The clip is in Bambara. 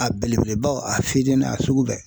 A belebelebaw a fitinin a sugu bɛɛ.